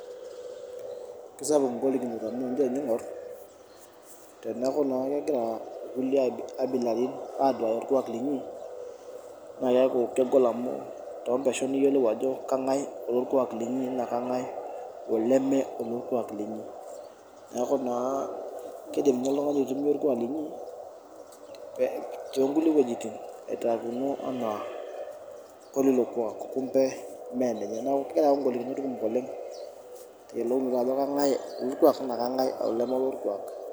Kisapuk igolikinot amu, tenijo ninye aingor teneaku naa kegira kulie abilaratin aduaya orkuak linyi naa keaku kegol amu, torpeshon niyelou ajo kengae olorkuak linyi naa kengae oleme olorkuak linyi. Neaku naa kidim ninye oltungani aitumia linyi too kulie wuejitin aitaa kuno enaa kulilo kuak kumbe mee ninye . Neaku keyau igolikinot kumok oleng eyiolouninajo kengae olorkuak naa ingae oleme olorkuak.